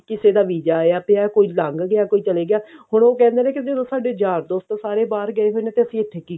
ਕਿਸੇ ਦਾ visa ਆਇਆ ਪਿਆ ਕੋਈ ਲੰਘ ਗਿਆ ਕੋਈ ਚਲੇ ਗਿਆ ਹੁਣ ਉਹ ਕਹਿੰਦੇ ਨੇ ਕਿ ਜਦੋਂ ਸਾਡੇ ਯਾਰ ਦੋਸਤ ਸਾਰੇ ਬਾਹਰ ਗਏ ਹੋਏ ਨੇ ਤਾਂ ਅਸੀਂ ਇੱਥੇ ਕੀ